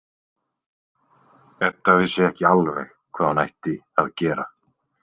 Edda vissi ekki alveg hvað hún ætti að gera.